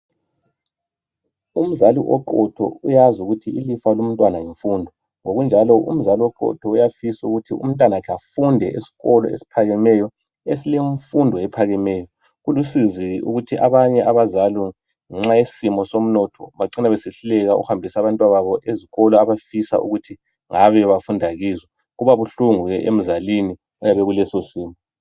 Umzali oqotho uyazi ukuthi ilifa lomntwana yimfundo ngokunjalo umzali oqotho uyafisa ukuthi umntanakhe afunde eskolo esiphakemeyo esilemfundo ephakemeyo kulusizi ukuthi abanye abazali ngenxayesimo somnotho bacina besehluleka ukuhambisa abantwababo ezikolo abafisa ukuthi ngabe bafunda kizo kuba buhlungu ke emzalini oyabe ekuleso simo.